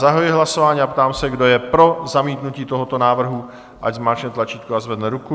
Zahajuji hlasování a ptám se, kdo je pro zamítnutí tohoto návrhu, ať zmáčkne tlačítko a zvedne ruku.